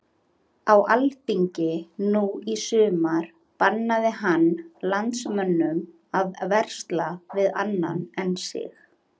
Á alþingi nú í sumar bannaði hann landsmönnum að versla við annan en sig.